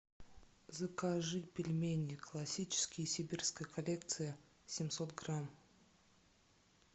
закажи пельмени классические сибирская коллекция семьсот грамм